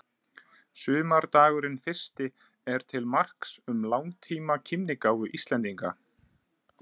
Sumardagurinn fyrsti er til marks um langtíma kímnigáfu Íslendinga.